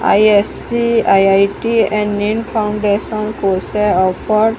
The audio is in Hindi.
आई_एस_सी आई_आई_टी एंड नेन फाउंडेशन कोर्स है एक्वार्ड --